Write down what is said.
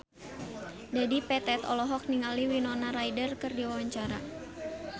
Dedi Petet olohok ningali Winona Ryder keur diwawancara